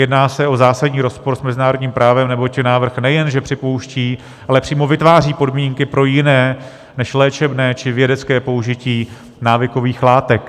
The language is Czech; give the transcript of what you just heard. Jedná se o zásadní rozpor s mezinárodním právem, neboť návrh nejenže připouští, ale přímo vytváří podmínky pro jiné než léčebné či vědecké použití návykových látek.